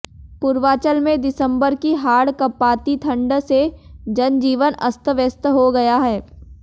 पूर्वांचल में दिसंबर की हाड़ कंपाती ठंड से जनजीवन अस्त व्यस्त हो गया है